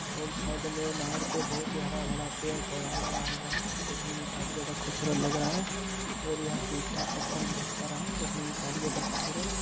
और साइड में नहर पर बहुत ही हरा भरा पेड़ पौधे लगा हुआ है देखने में काफी ज्यादा खूबसूरत लग रहा है और यहाँ पर ईटा पत्थर भी बहुत सारा है देखने में काफी ज्यादा खूबसूरत--